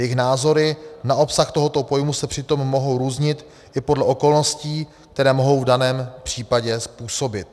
Jejich názory na obsah tohoto pojmu s přitom mohou různit i podle okolností, které mohou v daném případě způsobit.